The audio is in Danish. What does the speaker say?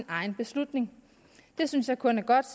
egen beslutning det synes jeg kun er godt